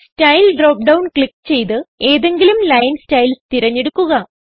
style drop down click ചെയ്ത് ഏതെങ്കിലും line styles തിരഞ്ഞെടുക്കുക